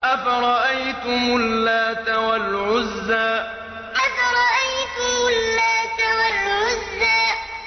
أَفَرَأَيْتُمُ اللَّاتَ وَالْعُزَّىٰ أَفَرَأَيْتُمُ اللَّاتَ وَالْعُزَّىٰ